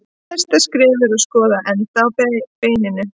Næsta skref er að skoða endana á beininu.